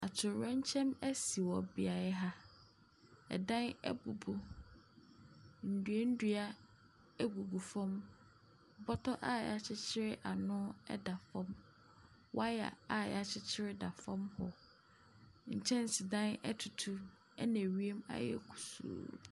Atoyerɛnkyɛm bi asi wɔ beaeɛ ha. Adan abubu, nnuannua deda fam, bɔtɔ a wɔakyekyerɛ ano da fam. Wire a wɔakyekyere da fam hɔ. Nkyɛnsedan autu na ewiem ayɛ kutuu.